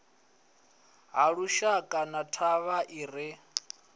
halushaka na thavha i re